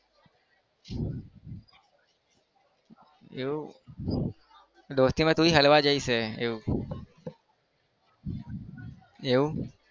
એવું દોસ્તીમાં તું જ હલવાઈ જઈશ એવું એવું.